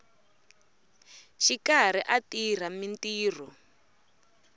ri karhi a tirha mintirho